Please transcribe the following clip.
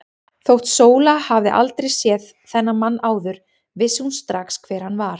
Þótt Sóla hefði aldrei séð þennan mann áður vissi hún strax hver hann var.